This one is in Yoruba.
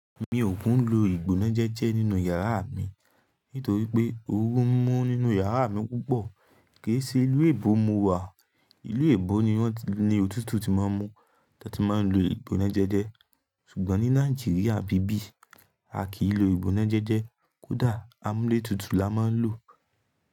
Mi ò kún lo ìgbọná jẹjẹ nínú yàrá mi nítorí pé oru ń mú nínú yàrá mi púpọ̀. Ke í se ìlú èèbó mo wà. Ìlú èèbó ni wọ́n ni òtútù tí máa ń mú tó tí máa ń lo ìgbọná jẹjẹ. Ṣùgbọ́n ní Nàìjíríà ń bíbí, a kì í lo ìgbọná jẹjẹ, kódà amúlé tutù la máa ń lò.